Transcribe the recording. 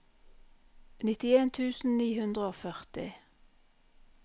nittien tusen ni hundre og førti